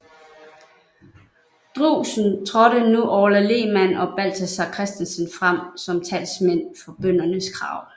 Drewsen trådte nu Orla Lehmann og Balthazar Christensen frem som talsmænd for bøndernes krav